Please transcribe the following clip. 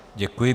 Děkuji.